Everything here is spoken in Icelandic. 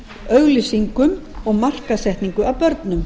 auglýsingum og markaðssetningu að börnum